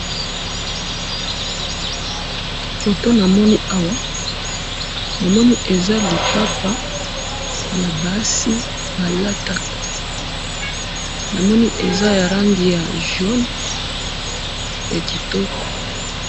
photo namoni awa namoni eza lipapa ya basi balataka namoni eza ya langi ya jaune ya kitoko